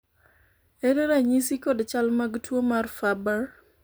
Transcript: ere ranyisi kod chal mag tuo mar Farber